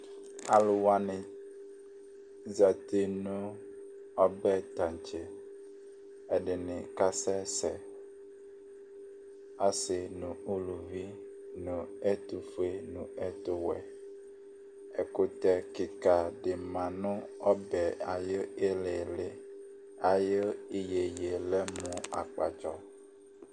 Alʋ wanɩ zati nʋ ɔbɛ taŋtse Ɛdɩnɩ kasɛsɛ, asɩ nʋ uluvi nʋ ɛtʋfue nʋ ɛtʋwɛ Ɛkʋtɛ kɩka dɩ la nʋ ɔbɛ yɛ ayʋ ɩɩlɩ ɩɩlɩ Ayʋ iyeye yɛ lɛ mʋ akpatsɔ